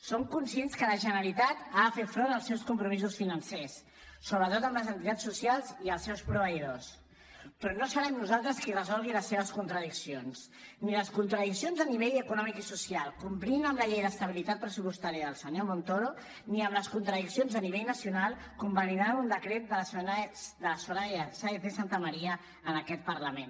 som conscients que la generalitat ha de fer front als seus compromisos financers sobretot amb les entitats socials i els seus proveïdors però no serem nosaltres qui resolgui les seves contradiccions ni les contradiccions a nivell econòmic i social complint amb la llei d’estabilitat pressupostària del senyor montoro ni les contradiccions a nivell nacional convalidant un decret de la soraya sáenz de santamaría en aquest parlament